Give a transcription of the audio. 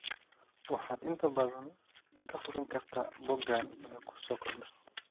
Waxaad inta badan ka hubin kartaa boggan wixii ku soo kordha.